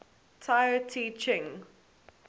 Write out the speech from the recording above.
tao te ching